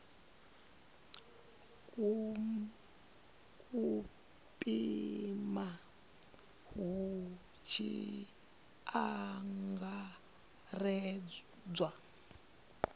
u pima hu tshi angaredzwa